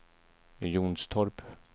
Jonstorp